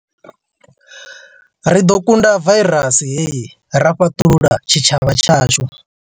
Ri ḓo kunda vairasi hei ra fhaṱulula tshitshavha tshashu.